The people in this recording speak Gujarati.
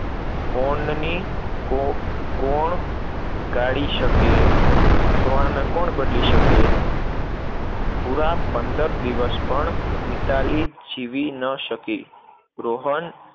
કોણ કાઢી શકે? થવાને કોણ બદલી શકે? પુરા પંદર દિવસ પણ મિતાલી જીવી ન શકી, રોહન